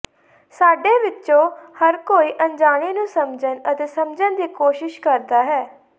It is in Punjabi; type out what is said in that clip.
ਸਾਡੇ ਵਿੱਚੋਂ ਹਰ ਕੋਈ ਅਣਜਾਣੇ ਨੂੰ ਸਮਝਣ ਅਤੇ ਸਮਝਣ ਦੀ ਕੋਸ਼ਿਸ਼ ਕਰਦਾ ਹੈ